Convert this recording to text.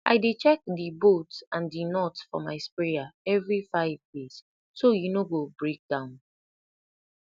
i dey check di bolt and di nut for my sprayer every five days so e no go break down